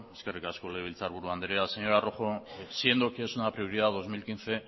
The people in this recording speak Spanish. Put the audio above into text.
eskerrik asko legebiltzarburu andrea señora rojo siendo que es una prioridad dos mil quince